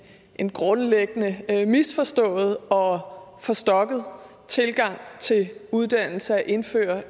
en grundlæggende misforstået og forstokket tilgang til uddannelse at indføre